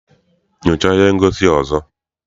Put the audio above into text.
Nyochaa ihe ngosi a ọzọ!